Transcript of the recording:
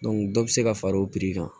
dɔ bɛ se ka far'o kan